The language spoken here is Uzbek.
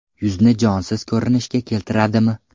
Yuzni jonsiz ko‘rinishga keltiradimi?